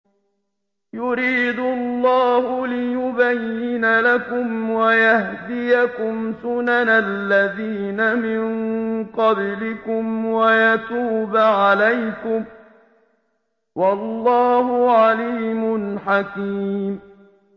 يُرِيدُ اللَّهُ لِيُبَيِّنَ لَكُمْ وَيَهْدِيَكُمْ سُنَنَ الَّذِينَ مِن قَبْلِكُمْ وَيَتُوبَ عَلَيْكُمْ ۗ وَاللَّهُ عَلِيمٌ حَكِيمٌ